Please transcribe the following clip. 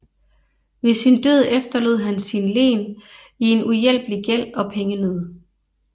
Ved sin død efterlod han sit len i en uhjælpelig gæld og pengenød